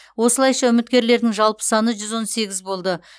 осылайша үміткерлердің жалпы саны жүз он сегіз болды